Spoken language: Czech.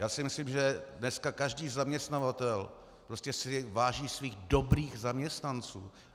Já si myslím, že dnes každý zaměstnavatel prostě si váží svých dobrých zaměstnanců.